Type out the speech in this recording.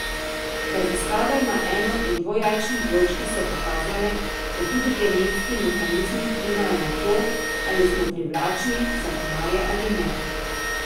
Raziskave na eno in dvojajčnih dvojčkih so pokazale, da tudi genetski mehanizmi vplivajo na to, ali smo privlačni za komarje ali ne.